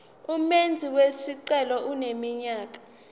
umenzi wesicelo eneminyaka